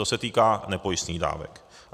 To se týká nepojistných dávek.